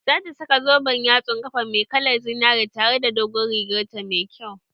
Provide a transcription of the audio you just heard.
Za ta saka zoben yatsun ƙafa mai kalar zinari tare da dogon rigar ta mai kyau